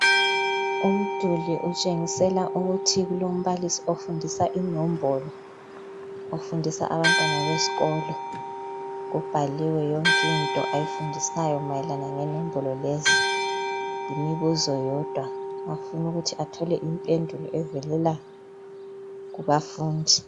Umduli utshengisela ukuthi kulombalisi ofundisa inombolo. Ofundisa abantwana besikolo. Kubhaliwe yonkinto ayaifundisayo mayelana lenombolo lezi. Yimibuzo yodwa. Ufun' ukuthi athole impendulo evelela kubafundi.